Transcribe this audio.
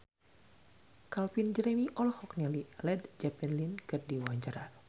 Calvin Jeremy olohok ningali Led Zeppelin keur diwawancara